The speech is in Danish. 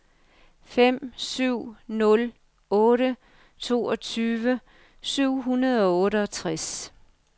fem syv nul otte toogtyve syv hundrede og otteogtres